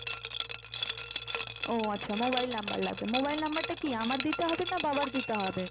ও আচ্ছা mobile number লাগবে। mobile number টা কি আমার দিতে হবে না বাবার দিতে হবে?